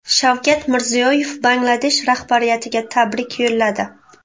Shavkat Mirziyoyev Bangladesh rahbariyatiga tabrik yo‘lladi.